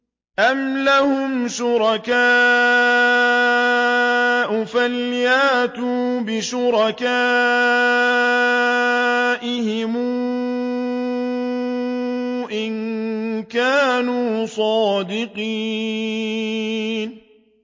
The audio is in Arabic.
أَمْ لَهُمْ شُرَكَاءُ فَلْيَأْتُوا بِشُرَكَائِهِمْ إِن كَانُوا صَادِقِينَ